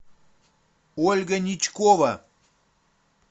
ольга ничкова